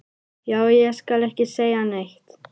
Já, ég skal ekki segja neitt.